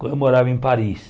quando eu morava em Paris.